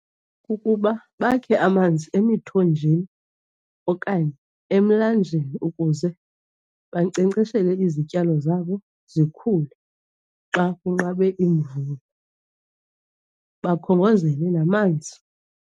Kukuba bakhe amanzi emithonjeni okanye emilanjeni ukuze bankcenkceshele izityalo zabo zikhule xa kunqabe imvula. Bakhongozele namanzi.